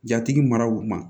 Jatigi maraw ma